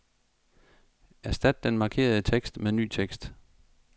Erstat den markerede tekst med ny tekst.